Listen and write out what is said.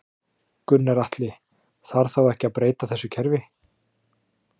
Gunnar Atli: Þarf þá ekki að breyta þessu kerfi?